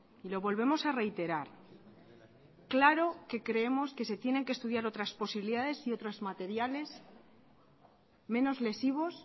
y lo volvemos a reiterar claro que creemos que se tienen que estudiar otras posibilidades y otras materiales menos lesivos